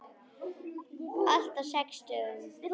Allt á sex dögum.